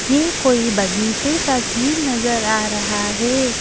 यह कोई बगीचे का सीन नजर आ रहा है।